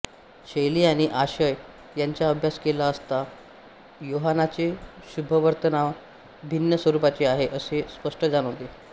शैली आणि आशय यांचा अभ्यास केला असता योहानाचे शुभवर्तमान भिन्न स्वरूपाचे आहे असे स्पष्ट जाणवते